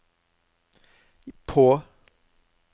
på